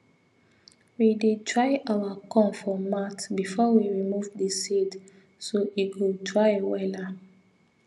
we dey dry our corn for mat before we remove the seed so e go dry wella